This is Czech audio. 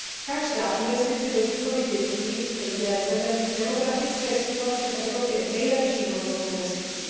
Každá investice do výchovy dětí je vzhledem k demografické situaci v Evropě nejlepší možnou investicí.